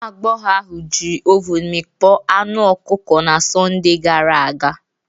Nwa agbọghọ ahụ jiri ovun mikpo anu ọkụkọ na Sọnde gara aga.